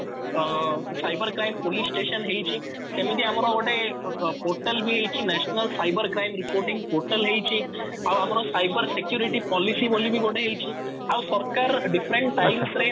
ତ cyber crime police station ହେଇଚି ସେମିତି ଆମର ଗୋଟେ ପୋର୍ଟାଲ ବି ହେଇଚି national cyber crime reporting portal ହେଇଚି ଆଉ ଆମର ସାଇବର security ପଲିସି ବୋଲି ବି ଗୋଟେ ହେଇଚି ଆଉ ସରକାର different times ରେ